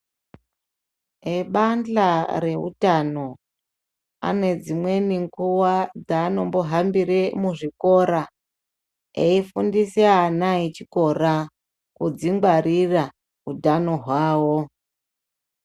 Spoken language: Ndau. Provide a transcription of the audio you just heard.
Vebandhla reutano ane dzimweni nguwa dzaanombohambire muzvikora aifundise ana echikora kudzingwarira utano hwavo .